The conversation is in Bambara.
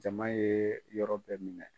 Jama ye yɔrɔ bɛɛ minɛ.